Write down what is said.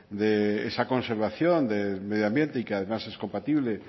de esa conservación del medio ambiente y que además es compatible